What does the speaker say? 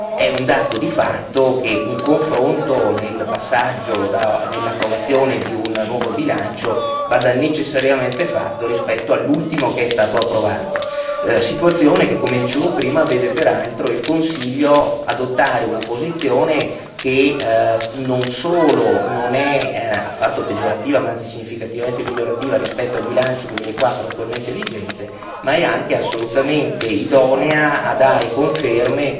È un dato di fatto che un confronto nel passaggio nell'approvazione di un nuovo bilancio vada necessariamente fatto rispetto all'ultimo che è stato approvato, situazione che, come dicevo prima, vede peraltro il Consiglio adottare una posizione che, non solo non è affatto peggiorativa, ma anzi significativamente migliorativa rispetto al bilancio 2014 attualmente vigente, ma è anche assolutamente idonea a dare conferme